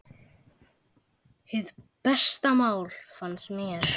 Hið besta mál, fannst mér.